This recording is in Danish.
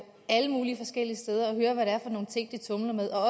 alle mulige forskellige steder og høre hvad det er for nogle ting de tumler med og